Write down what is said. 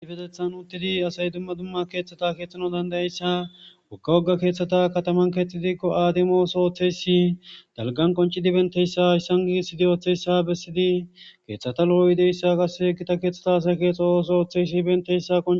a fetethan uttidi asay dumma dumma keeththata keexxhano dandayayssa ukka wogga keeththata kataman keexxidikko aademooso ooththeysi dalgan qoncidi benteyssa hayssan giisidi ooththeyssa bessidi keeththata lo7o ideyssa qasse egita keeththata asa keexa ooso ooththeysi benteyssa